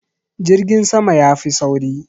Jirgin sama ya fi sauri.